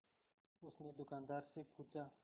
उसने दुकानदार से पूछा